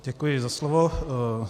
Děkuji za slovo.